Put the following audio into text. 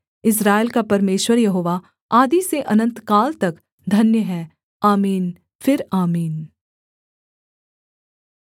इस्राएल का परमेश्वर यहोवा आदि से अनन्तकाल तक धन्य है आमीन फिर आमीन